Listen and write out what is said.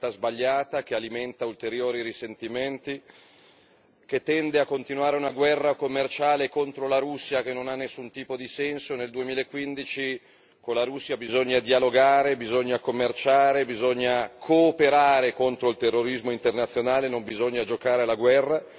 È una scelta sbagliata che alimenta ulteriori risentimenti, che tende a continuare una guerra commerciale contro la Russia che non ha nessun tipo di senso. Nel 2015 con la Russia bisogna dialogare, bisogna commerciare, bisogna cooperare contro il terrorismo internazionale, non bisogna giocare alla guerra.